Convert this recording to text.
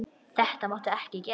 Þetta máttu ekki gera.